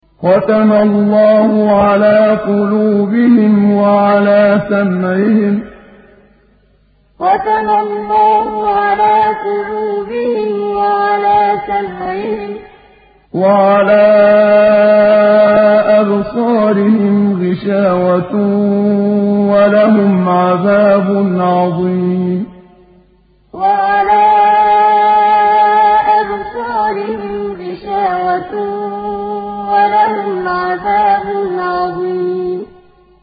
خَتَمَ اللَّهُ عَلَىٰ قُلُوبِهِمْ وَعَلَىٰ سَمْعِهِمْ ۖ وَعَلَىٰ أَبْصَارِهِمْ غِشَاوَةٌ ۖ وَلَهُمْ عَذَابٌ عَظِيمٌ خَتَمَ اللَّهُ عَلَىٰ قُلُوبِهِمْ وَعَلَىٰ سَمْعِهِمْ ۖ وَعَلَىٰ أَبْصَارِهِمْ غِشَاوَةٌ ۖ وَلَهُمْ عَذَابٌ عَظِيمٌ